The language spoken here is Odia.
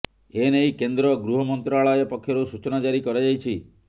ଏ ନେଇ କେନ୍ଦ୍ର ଗୃହ ମନ୍ତ୍ରଣାଳୟ ପକ୍ଷରୁ ସୂଚନା ଜାରି କରାଯାଇଛି